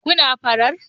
Kun na farar